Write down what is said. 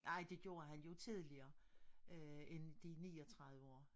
Ej det gjorde han jo tidligere end de 39 år